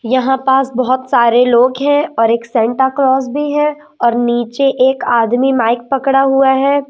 यहां पास बहोत सारे लोग हैं और एक सेंटा क्लॉज भी है और नीचे एक आदमी माइक पकड़ा हुआ है।